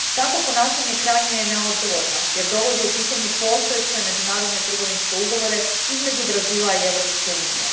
Takvo ponašanje krajnje je neodgovorno jer dovodi u pitanje postojeće međunarodne trgovinske ugovore između Brazila i Europske unije.